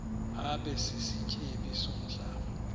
abe sisityebi somhlaba